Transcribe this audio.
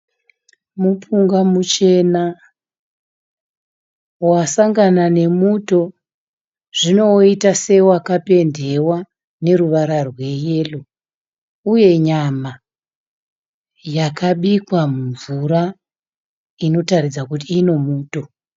Mupunga muchena wasangana nemuto zvino woita sewakapendewa neruvara rweyero, uye nyama yakabikwa mumvura inotaridza kuti ine muto.